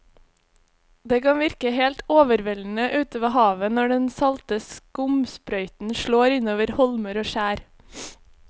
Det kan virke helt overveldende ute ved havet når den salte skumsprøyten slår innover holmer og skjær.